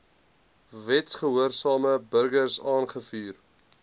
wetsgehoorsame burgers aangevuur